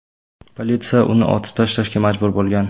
Politsiya uni otib tashlashga majbur bo‘lgan.